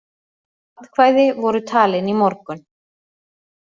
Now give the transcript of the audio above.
Atkvæði voru talin í morgun